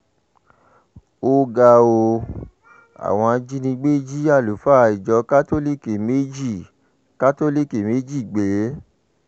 ó ga ọ́ àwọn ajínigbé jí àlùfáà ìjọ kátólíìkì méjì kátólíìkì méjì gbé